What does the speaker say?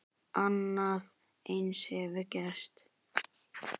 Annað eins hefur gerst!